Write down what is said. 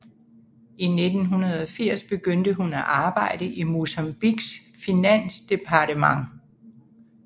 I 1980 begyndte hun at arbejde i Mozambiques finansdepartement